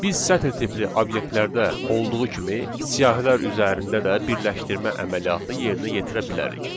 Biz sətir tipli obyektlərdə olduğu kimi siyahilər üzərində də birləşdirmə əməliyyatı yerinə yetirə bilərik.